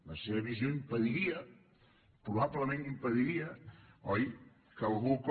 la seva visió impediria probablement ho impediria oi que algú com